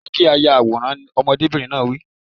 Jẹ́ kí a yà àwòrán! Ọmọdébìnrin náà wí.